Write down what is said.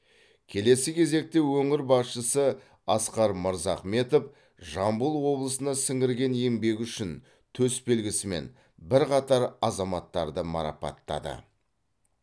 келесі кезекте өңір басшысы асқар мырзахметов жамбыл облысына сіңірген еңбегі үшін төсбелгісімен бірқатар азаматтарды марапаттады